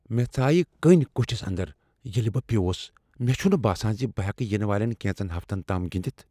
مےٚ ژایِہ کٔنۍ کوٹِھس اندر ییلِہ بہٕ پِیوس ۔ مےٚ چھنہٕ باسان زِ بہٕ ہیکہٕ ینہٕ والین کینژن ہفتن تام گندتھ۔